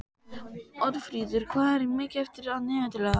Oddfríður, hvað er mikið eftir af niðurteljaranum?